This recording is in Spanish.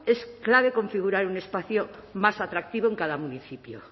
es clave configurar un espacio más atractivo en cada municipio